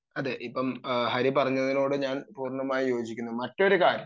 അതെ ഇപ്പം ഹരി പറഞ്ഞതിനോട് ഞാൻ പൂർണ്ണമായും യോജിക്കുന്നു മറ്റൊരു കാര്യം